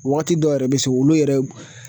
Wagati dɔw yɛrɛ bɛ se olu yɛrɛ